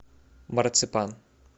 марципан